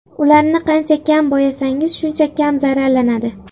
Ularni qancha kam bo‘yasangiz, shuncha kam zararlanadi.